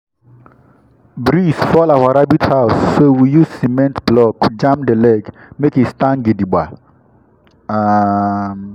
breeze fall our rabbit house so we use cement block jam the leg make e stand gidigba. um